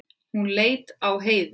Hún leit á Heiðu.